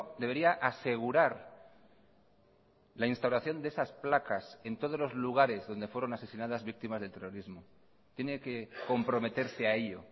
debería asegurar la instauración de esas placas en todos los lugares donde fueron asesinadas víctimas del terrorismo tiene que comprometerse a ello